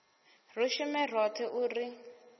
ri shume roṱhe u ri